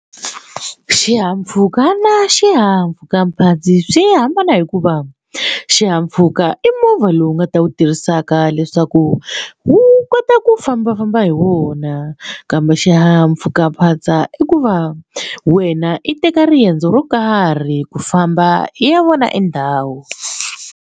Xihahampfhuka na xihahampfhukaphatsa ndzi swi hambana hikuva xihahampfhuka i movha lowu nga ta wu tirhisaka leswaku wu kota ku ku fambafamba hi wona kambe xihahampfhukaphatsa i ku va wena i teka riendzo ro karhi ku famba i ya vona endhawu.